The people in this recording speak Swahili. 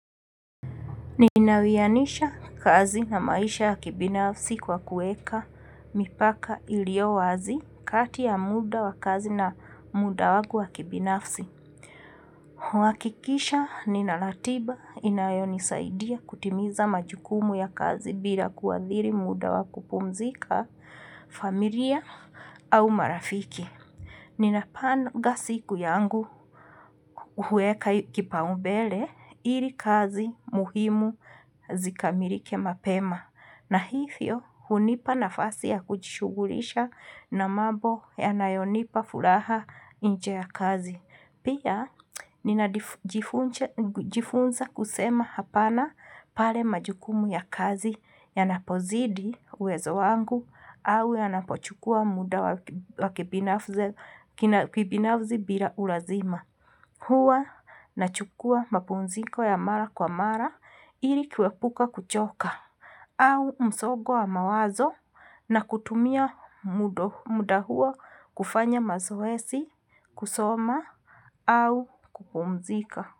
Ninawianisha kazi na maisha ya kibinafsi kwa kueka mipaka iliyo wazi kati ya muda wa kazi na muda wangu wa kibinafsi. Huhakikisha nina ratiba inayonisaidia kutimiza majukumu ya kazi bila kuadhiri muda wa kupumzika familia au marafiki. Ninapanga siku yangu huweka kipaumbele ili kazi muhimu zikamilike mapema na hivyo hunipa nafasi ya kujishughulisha na mambo yanayonipa furaha inje ya kazi. Pia ninajifunza kusema hapana pale majukumu ya kazi yanapozidi uwezo wangu au yanapochukua muda wa kibinafsi bila ulazima. Huwa nachukua mapumziko ya mara kwa mara ili kuepuka kuchoka au msongo wa mawazo na kutumia muda huo kufanya mazoezi, kusoma au kupumzika.